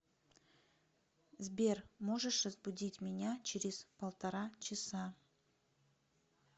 сбер можешь разбудить меня через полтора часа